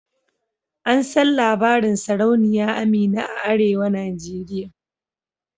An san labarin sarauniya Amina a arewa nigeria.